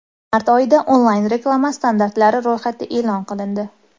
Mart oyida onlayn-reklama standartlari ro‘yxati e’lon qilindi.